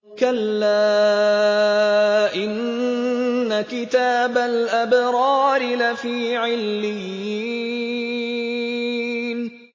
كَلَّا إِنَّ كِتَابَ الْأَبْرَارِ لَفِي عِلِّيِّينَ